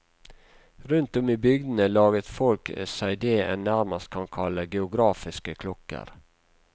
Rundt om i bygdene laget folk seg det en nærmest kan kalle geografiske klokker.